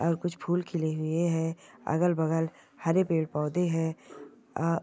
कुछ फुल खिले हुए है अगल बगल हरे पेड पौधे है अ--